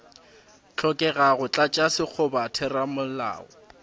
hlokega go tlatša sekgoba theramelao